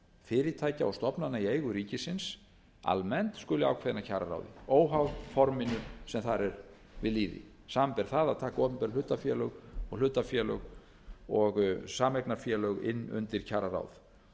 fyrirtækja og stofnana í eigu ríkisins almennt skuli ákveðin af kjararáði óháð forminu sem þar er við lýði samanber það að taka opinber hlutafélög og hlutafélög og sameignarfélög inn undir kjararáð